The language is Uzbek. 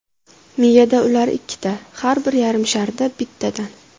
Miyada ular ikkita har bir yarim sharda bittadan.